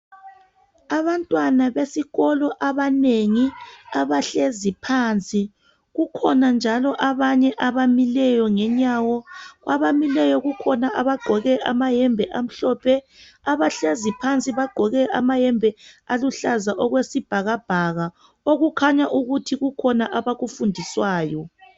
Abantwana besikolo abanengi abahlezi phansi. Kukhona njalo abanye abamileyo ngenyawo. Kwabamileyo kukhona abagqoke amahembe amhlophe, abahlezi phansi bagqoke amahembe aluhlaza okwesibhakabhaka. Okukhanya ukuthi kukhona abakufundiswayo.